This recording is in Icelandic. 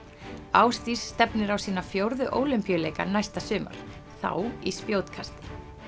Ásdís stefnir á sína fjórðu Ólympíuleika næsta sumar þá í spjótkasti